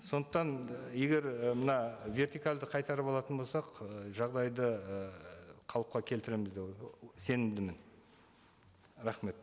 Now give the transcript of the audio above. сондықтан і егер і мына вертикальді қайтарып алатын болсақ ы жағдайды ы қалыпқа келтіреміз деп сенімдімін рахмет